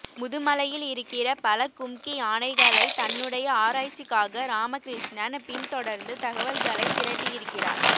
முதுமலையில் இருக்கிற பல கும்கி யானைகளைத் தன்னுடைய ஆராய்ச்சிக்காக ராமகிருஷ்ணன் பின்தொடர்ந்து தகவல்களைத் திரட்டியிருக்கிறார்